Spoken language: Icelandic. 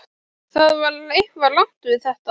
Það var eitthvað rangt við þetta.